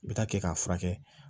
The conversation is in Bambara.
I bɛ taa kɛ k'a furakɛ